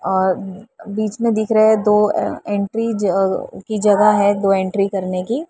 और बीच में दिख रहे है दो अ एंट्री जअ की जगह है दो एंट्री करने की --